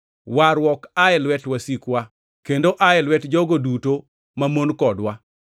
warruok ae lwet wasikwa, kendo ae lwet jogo duto mamon kodwa,